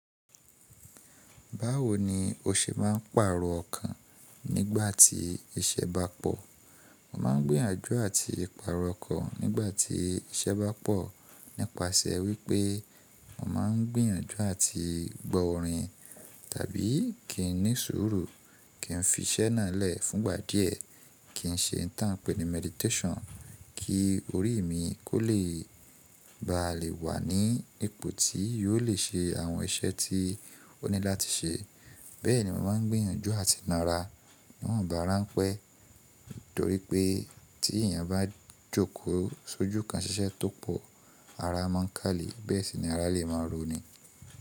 Báwo ni o ṣe máa ń pàrọ̀ ọkàn nígbà tí iṣẹ́ bá pọ̀? Mo máa ń gbìyànjú àti pàrọ̀ ọkàn nígbà tí iṣẹ́ bá pọ̀ nípasẹ̀ wípé mo máa ń gbìyànjú àti gbo orin tàbí kí n ní sùúrù, kí n fi iṣẹ́ náà lẹ̀ fúngbà díẹ̀, kí n ṣe n ta n pẹ́ ní meditation, kí orí mi kó lè e bá lè wà ní ipò tí yóò le ṣe àwọn iṣẹ́ tí ó ní láti ṣe. Bẹ́ẹ̀ ni mo máa ń gbìyànjú àti máa rà a. Niwonba ranpe torí pé tí èèyàn bá jókòó sójú kan ṣiṣẹ́ tó pọ̀, ara máa ń kálee bẹ́ẹ̀ sì ni ara lè máa roni.